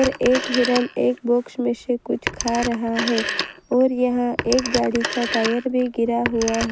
एक हिरन एक बॉक्स में से कुछ खा रहा है और यहां एक गाड़ी का टायर भी गिरा हुआ है।